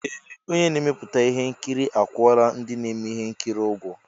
Ee! Onye na-emepụta ihe nkiri akwụọla ndị na-eme ihe nkiri ụgwọ.